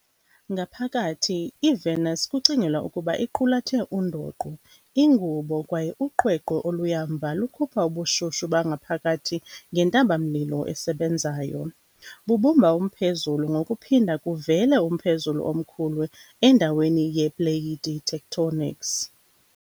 Ngaphakathi, iVenus kucingelwa ukuba iqulathe undoqo, ingubo, kwaye uqweqwe, oluya mva lukhupha ubushushu bangaphakathi ngentaba-mlilo esebenzayo, bubumba umphezulu ngokuphinda kuvele umphezulu omkhulu endaweni yepleyiti tectonics.